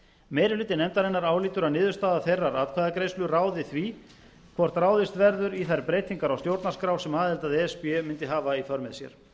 meiri hluti nefndarinnar álítur að niðurstaða þeirrar atkvæðagreiðslu ráði því hvort ráðist verður í þær breytingar á stjórnarskrá sem aðild að e s b mundi hafa í för með sér